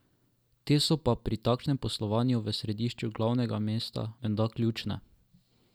Te so pri takšnem poslovanju v središču glavnega mesta menda ključne.